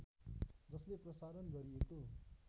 जसले प्रसारण गरिएको